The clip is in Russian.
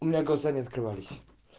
у меня глаза не открывались